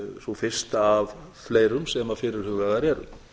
sú fyrsta af fleirum sem fyrirhugaðar eru